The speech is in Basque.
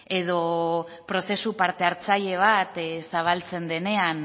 edo prozesu parte hartzaile bat zabaltzen denean